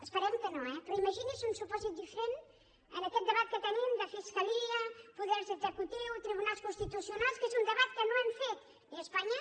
esperem que no eh però imagini’s un supòsit diferent en aquest debat que tenim de fiscalia poders executius tribunals constitucionals que és un debat que no hem fet ni a espanya